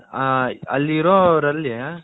ಆ ಅಲ್ಲಿ ಇರ್ರೋರ್ ಅಲ್ಲಿ